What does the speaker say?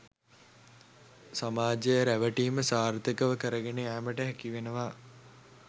සමාජය රැවටීම සාර්ථකව කරගෙන යාමට හැකිවෙනවා.